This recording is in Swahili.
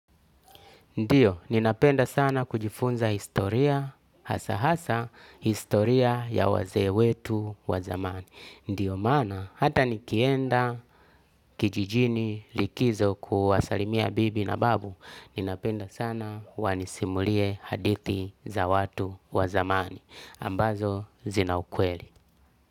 Ndiyo, ninapenda sana kujifunza historia, hasa hasa, historia ya wazee wetu wa zamani. Ndiyo maana, hata nikienda kijijini likizo kuwasalimia bibi na babu, ninapenda sana wanisimulie hadithi za watu wa zamani. Ambazo zina ukweli.